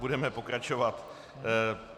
Budeme pokračovat.